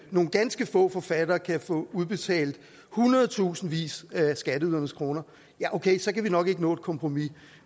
nogle ganske få forfattere kan få udbetalt hundredtusindvis af skatteydernes kroner ja okay så kan vi nok ikke nå et kompromis